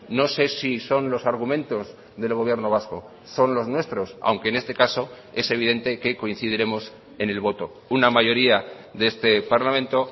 no sé si son los argumentos del gobierno vasco son los nuestros aunque en este caso es evidente que coincidiremos en el voto una mayoría de este parlamento